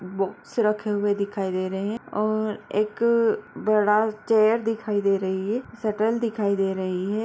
Box रखे हुए दिखाई दे रहें हैं और एक बडा चेयर दिखाई दे रही है शटर दिखाई दे रही है।